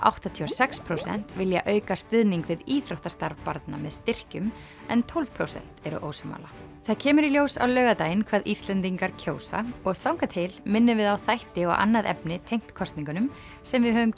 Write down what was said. áttatíu og sex prósent vilja auka stuðning við íþróttastarf barna með styrkjum en tólf prósent eru ósammála það kemur í ljós á laugardaginn hvað Íslendingar kjósa og þangað til minnum við á þætti og annað efni tengt kosningunum sem við höfum